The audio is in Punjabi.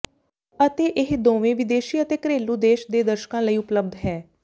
ਅਤੇ ਇਹ ਦੋਵੇਂ ਵਿਦੇਸ਼ੀ ਅਤੇ ਘਰੇਲੂ ਦੇਸ਼ ਦੇ ਦਰਸ਼ਕਾਂ ਲਈ ਉਪਲਬਧ ਹੈ